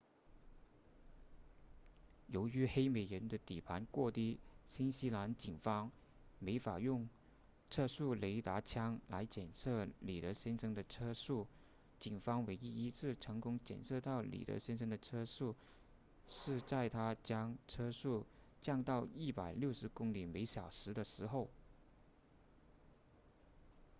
由于黑美人的底盘过低新西兰警方没法用测速雷达枪来检测里德先生的车速警方唯一一次成功检测到里德先生的车速是在他将车速降到160公里小时的时候